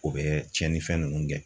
O bɛ cɛnni fɛn ninnu gɛn.